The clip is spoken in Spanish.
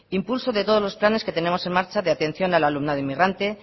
impulso de todos los planes que tenemos en marcha de atención al alumnado inmigrante